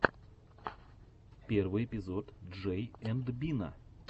первый эпизод джей энд бина